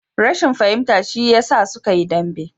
Rashin fahimta shi ya sa suka yi dambe